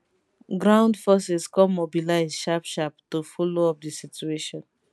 ground forces come mobilise sharpsharp to follow up di situation